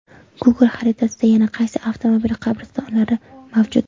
Google xaritasida yana qaysi avtomobil qabristonlari mavjud?